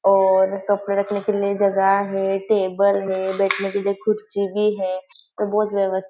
और कपड़े रखने के लिए जगह है टेबल है बैठने के लिए कुर्सी भी है और बहुत व्यवस्था।